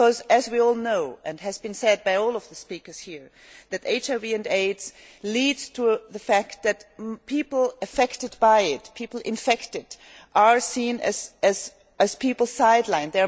As we all know and as has been said by all of the speakers here that HIV and AIDS leads to the fact that people affected by it people infected are seen as people sidelined.